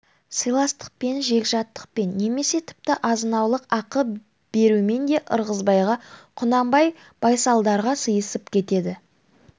сыйластықпен жегжаттықпен немесе тіпті азынаулақ ақы берумен де ырғызбайға құнанбай байсалдарға сыйысып кетеді